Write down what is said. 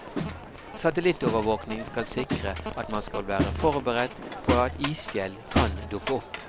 Satelittovervåking skal sikre at man skal være forberedt på at isfjell kan dukke opp.